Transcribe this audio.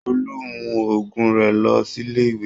Tolú mú òògùn rẹ lọ sílé ìwé.